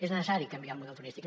és necessari canviar el model turístic